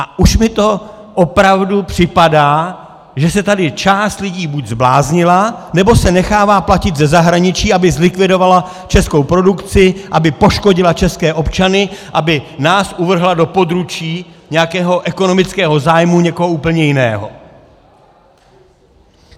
A už mi to opravdu připadá, že se tady část lidí buď zbláznila, nebo se nechává platit ze zahraničí, aby zlikvidovala českou produkci, aby poškodila české občany, aby nás uvrhla do područí nějakého ekonomického zájmu někoho úplně jiného.